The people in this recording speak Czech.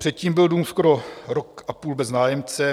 Předtím byl dům skoro rok a půl bez nájemce.